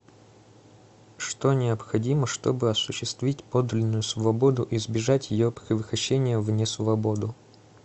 что необходимо чтобы осуществить подлинную свободу избежать ее превращения в несвободу